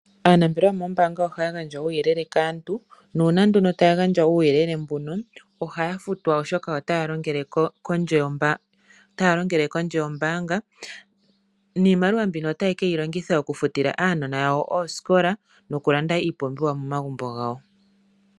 Aanambelewa yomoombanga ohaya gandja uuyele kaantu. Nuuna ndono taya gandja uuyelele mbuno ohaya futwa oshoka otaya longele kondje yombaanga, niimaliwa mbino otayi keyi longitha okufutila aanona yawo oosikola nokulanda iipumbiwa momagumbo gawo.